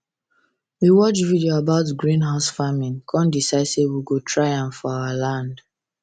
we watch video about greenhouse farming kan decide say we go try am for our land